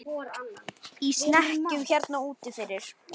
Í snekkju hérna úti fyrir!